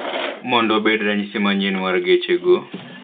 Mondo obed ranyisi manyien mar geche go